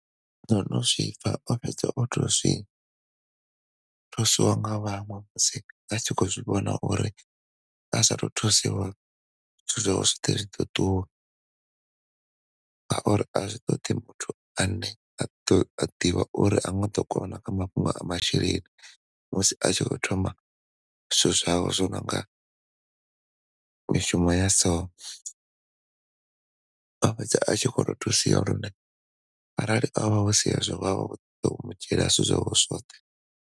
Ndono zwipfa o fhedza oto zwi thuswa nga vhaṅwe musi vha tshi kho zwivhona uri asa to thusiwa zwithu zwawe zwi ḓo ṱuwa nga uri a zwi ṱoḓi muthu ane a ḓo ane a ḓivha uri ha nga ḓo kona kha mafhungo a masheleni musi a tshi kho thoma zwithu zwawe zwo no nga mishumo ya so, a fhedza a tshi kho to thusiwa lune arali ho vha husi hezwo vha ḓo vha vho mu dzhiela zwithu zwawe zwoṱhe.